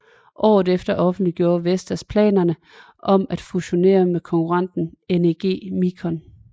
Året efter offentliggjorde Vestas planerne om at fusionere med konkurrenten NEG Micon